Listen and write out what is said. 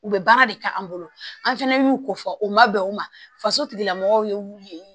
U bɛ baara de kɛ an bolo an fɛnɛ y'u ko fɔ u ma bɛn o ma faso tigilamɔgɔw ye wulu ye